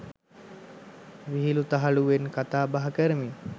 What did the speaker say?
විහිළු තහලුවෙන් කතාබහ කරමිනි.